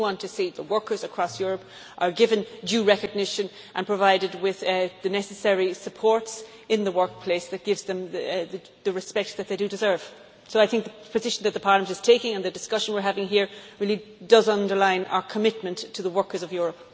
We do want to see that workers across Europe are given due recognition and are provided with the necessary support in the workplace that gives them the respect that they deserve. So I think the position Parliament is taking and the discussion we are having here really do underline our commitment to the workers of Europe.